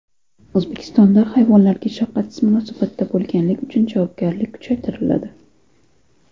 O‘zbekistonda hayvonlarga shafqatsiz munosabatda bo‘lganlik uchun javobgarlik kuchaytiriladi.